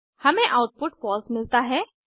हमें output false मिलता है